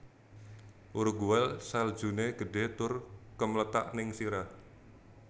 Uruguay saljune gedhe tur kemlethak ning sirah